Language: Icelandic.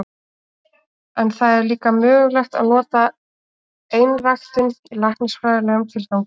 En það er líka mögulegt að nota einræktun í læknisfræðilegum tilgangi.